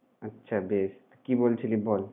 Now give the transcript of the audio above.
আচ্ছা বেশ! কি বলছিলি বল।